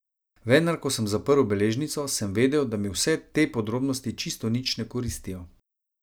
Vendar, ko sem zaprl beležnico, sem vedel, da mi vse te podrobnosti čisto nič ne koristijo.